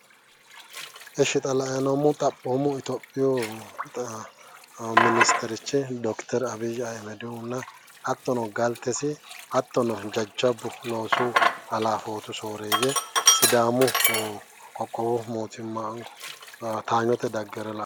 Ishi xa la'ayi noommohu xaapoomu minisiterchi dokiteri abiyyi ayimedihunna hattono galtesi hattono jajjabbu loosu halafootu sooreeyye sidaamu qoqqowu mootimma towaanyote daggewore la'neemmo